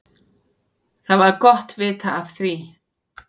Það var gott vita af því.